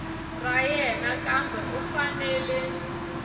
ra yena kambe u fanele